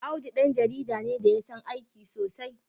Audu ɗan jarida ne da ya san aiki sosai.